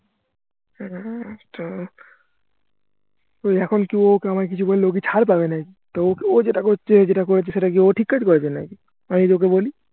এখন ওকি আমায় কিছু বললে ওকি ছাড় পাবেনাকি নাকি তো ও যেটা করছে যেটা করেছে সেটা কি ও ঠিক কাজ করেছে নাকি আমি যদি ওকে বলি